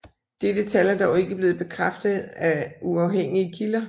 Dette tal er dog ikke blevet bekræftet af uafhængige kilder